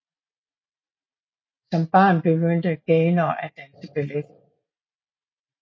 Som barn begyndte Gaynor at danse ballet